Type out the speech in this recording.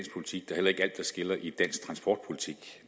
skiller vandene i dansk politik